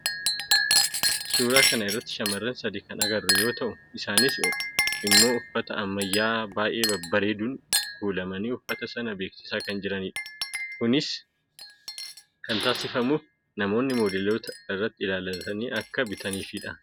suura kana irratti shaamarran sadi kan agarru yoo ta'u , isaanis immoo uffata ammayyaa'aa baay'ee babbareeduun kuulamanii uffata sana beeksisaa kan jiranidha. kinis kan taasifamuuf namoonni moodeloota irratti ilaallatanii akka bitataniifidha.